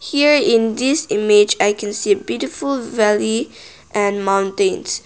here in this image i can see beautiful valley and mountains.